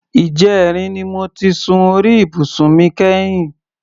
Ìjẹrin ni mo ti sun orí ibùsùn mi kẹ́yìn.